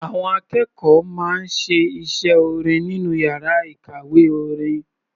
Àwọn akẹ́kọ̀ọ́ máa ń ṣe iṣẹ́ orin nínú yàrá ìkàwé orin.